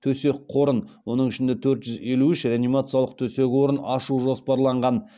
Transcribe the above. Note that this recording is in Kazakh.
төсек қорын оның ішінде төрт жүз елу үш реанимациялық төсек орын ашу жоспарланған